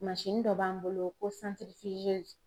dɔ b'an bolo ko